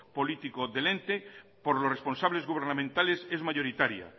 política del ente por los responsables gubernamentales es mayoritaria